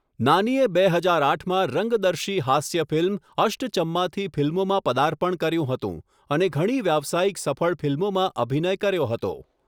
નાનીએ બે હજાર આઠમાં રંગદર્શી હાસ્ય ફિલ્મ 'અષ્ટચમ્મા'થી ફિલ્મોમાં પદાર્પણ કર્યું હતું અને ઘણી વ્યાવસાયિક સફળ ફિલ્મોમાં અભિનય કર્યો હતો.